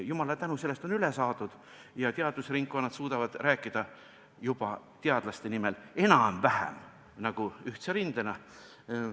Jumalale tänu, sellest on üle saadud ja teadusringkondade esindajad suudavad juba rääkida teadlaste nimel enam-vähem ühtse rindena.